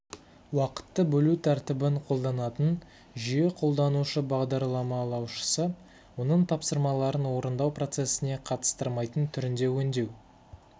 уақытты бөлу тәртібін қолданатын жүйе қолданушы-бағдарламалаушысы оның тапсырмаларын орындау процесіне қатыстырмайтын түрінде өңдеу